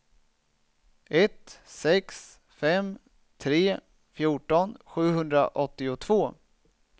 ett sex fem tre fjorton sjuhundraåttiotvå